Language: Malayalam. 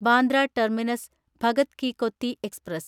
Bandra terminus Bhagat ki Kothi express